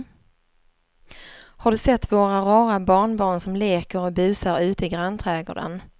Har du sett våra rara barnbarn som leker och busar ute i grannträdgården!